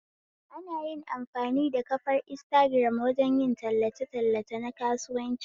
Ana amfani da kafar intagiram wajen yin tallace tallace nakasuwanci